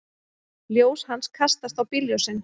Ljós hans kastast á bílljósin.